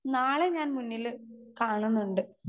Speaker 2 നാളെ ഞാൻ മുന്നില് കാണുന്നുണ്ട്.